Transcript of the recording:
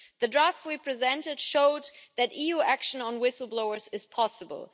The draft we presented showed that EU action on whistle blowers is possible.